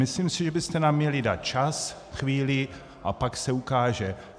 Myslím si, že byste nám měli dát čas, chvíli, a pak se ukáže.